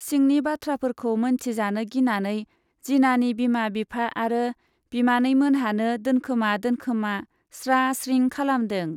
सिंनि बाथ्राफोरखौ मोनथिजानो गिनानै जिनानि बिमा बिफा आरो बिमानैमोनहानो दोनखोमा दोनखोमा स्रा स्रिं खालामदों।